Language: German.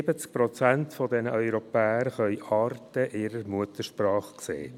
70 Prozent der Europäer können Arte in ihrer Muttersprache sehen.